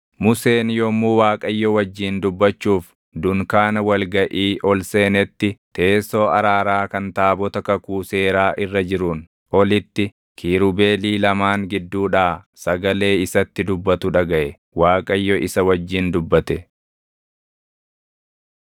Museen yommuu Waaqayyo wajjin dubbachuuf dunkaana wal gaʼii ol seenetti teessoo araaraa kan taabota kakuu seeraa irra jiruun olitti kiirubeelii lamaan gidduudhaa sagalee isatti dubbatu dhagaʼe. Waaqayyo isa wajjin dubbate.